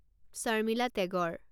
Sharmila Tagore